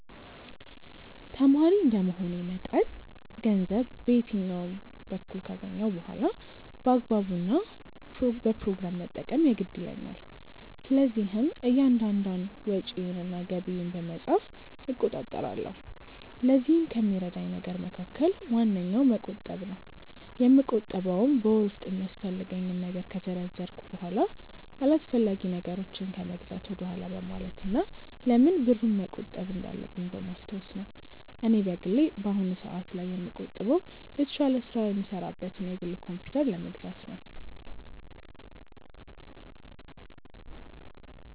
ተማሪ እንደመሆኔ መጠን ገንዘብ በየትኛውም በኩል ካገኘሁ በኋላ በአግባቡ እና በፕሮግራም መጠቀም የግድ ይለኛል። ስለዚህም እያንዳንዷን ወጪዬን እና ገቢዬን በመጻፍ እቆጣጠራለሁ። ለዚህም ከሚረዳኝ ነገር መካከል ዋነኛው መቆጠብ ነው። የምቆጥበውም በወር ውስጥ የሚያስፈልገኝን ነገር ከዘረዘርኩ በኋላ አላስፈላጊ ነገሮችን ከመግዛት ወደኋላ በማለት እና ለምን ብሩን መቆጠብ እንዳለብኝ በማስታወስ ነው። እኔ በግሌ በአሁኑ ሰአት ላይ የምቆጥበው የተሻለ ስራ የምሰራበትን የግል ኮምፕዩተር ለመግዛት ነው።